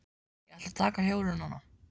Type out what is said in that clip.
Ég ætla að taka hjólið núna.